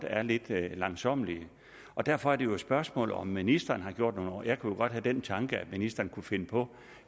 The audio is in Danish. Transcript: er lidt langsommelige derfor er det jo et spørgsmål om ministeren har gjort noget jeg kunne jo godt have den tanke at ministeren kunne finde på